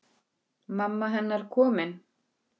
Ég hringdi í hann.